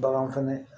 Bagan fɛnɛ